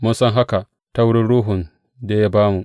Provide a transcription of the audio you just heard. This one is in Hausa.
Mun san haka ta wurin Ruhun da ya ba mu.